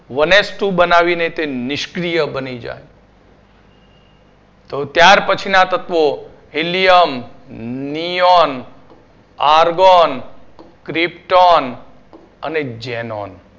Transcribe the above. one s two બનાવીને તે નિષ્ક્રિય બની જાય. તો ત્યાર પછીના તત્વો helium, neon, argon, krypton અને xenon